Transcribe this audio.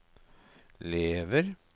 lever